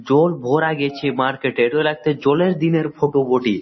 জল ভোরা গেছে মার্কেট এ। এটা একটা জলের দিনের ফোটো বটে।